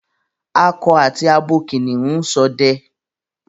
Ako àti abo kìnìún n sode